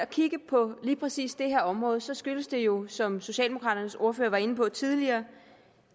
kigge på lige præcis det her område så skyldes det jo som socialdemokraternes ordfører var inde på tidligere